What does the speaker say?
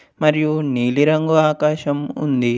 మరియు నీలి రంగు ఆకాశం ఉంది.